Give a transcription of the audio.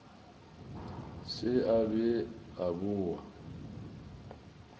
se a be a boa